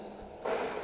kutu